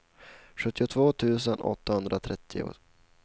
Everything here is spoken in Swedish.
sjuttiotvå tusen åttahundratrettio